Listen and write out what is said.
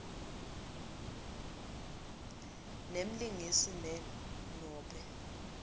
nemlingisi ne nobe